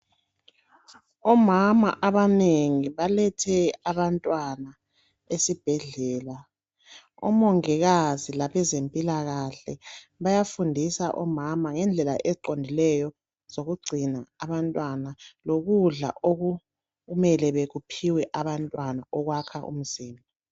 Omama abanengi balethe abantwana esibhedlela omongikazi labezempilakahle bayafundisa omama ngendlela eziqondileyo zokugcina abantwana lokudla okumele bekuphiwe abantwana okwakha umzimba.